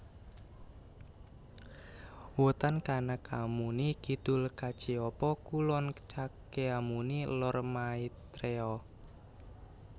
Wetan Kanakamuni Kidul Kacyapa Kulon Cakyamuni Lor Maitreya